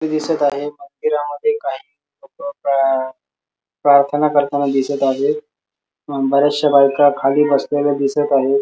दिसत आहे मंदिरामध्ये काही लोक प्रार्थना करताना दिसत आहे अ बऱ्याश्या बायका खाली बसलेल्या दिसत आहे.